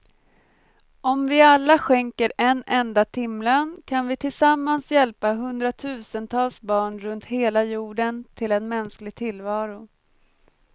Om vi alla skänker en enda timlön kan vi tillsammans hjälpa hundratusentals barn runt hela jorden till en mänsklig tillvaro.